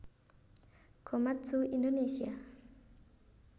Komatsu Indonésia